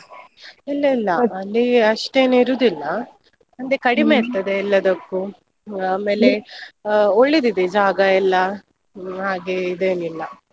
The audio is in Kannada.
ಇಲ್ಲ ಇಲ್ಲ, ಅಲ್ಲಿ ಅಷ್ಟೇನ್ ಇರುದಿಲ್ಲ ಕಡಿಮೆ ಇರ್ತದೆ ಎಲ್ಲದಕ್ಕೂ. ಆ ಒಳ್ಳೆದಿದೆ ಜಾಗ ಎಲ್ಲಾ ಹಾಗೆ ಇದೇನಿಲ್ಲ.